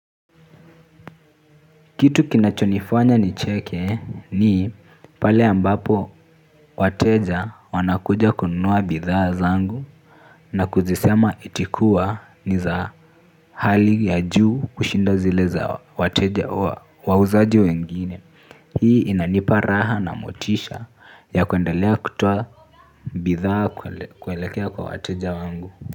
Kitu kinachonifanya nicheke ni pale ambapo wateja wanakuja kununua bidhaa zangu na kuzisema eti kuwa ni za hali ya juu kushinda zile za wateja wauzaji wengine. Hii inanipa raha na motisha ya kuendelea kutoa bidhaa kuelekea kwa wateja wangu.